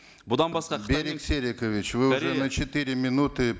бұдан басқа берик серикович вы на четыре минуты